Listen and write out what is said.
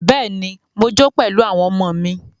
Bẹ́ẹ̀ni, mo jó pẹ̀lú àwọn ọmọ mí.